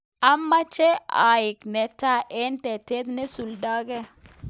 amoche aek netai eng tetet neisuldoi